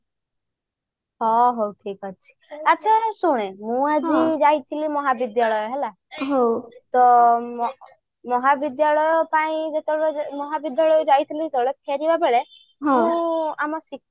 ହଁ ହଉ ଠିକ ଅଛି ଆଛା ହଉ ଶୁଣେ ମୁଁ ଆଜି ଯାଇଥିଲି ମହାବିଦ୍ୟାଳୟ ହେଲା ତ ମହାବିଦ୍ୟାଳୟ ପାଇଁ ଯେତେବେଳେ ମହାବିଦ୍ୟାଳୟ ଯାଇଥିଲୁ ଯେତେବେଳେ ଫେରିବା ବେଳେ ମୁଁ ଆମ